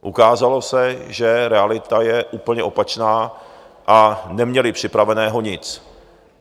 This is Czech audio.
Ukázalo se, že realita je úplně opačná a neměli připraveného nic.